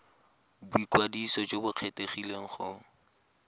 boikwadiso jo bo kgethegileng go